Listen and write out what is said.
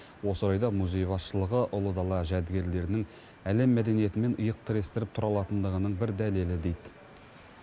осы орайда музей басшылығы ұлы дала жәдігерлерінің әлем мәдениетімен иық тірестіріп тұра алатындығының бір дәлелі дейді